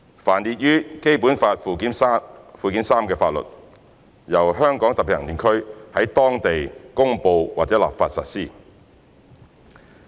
凡列於本法附件三之法律，由香港特別行政區在當地公布或立法實施。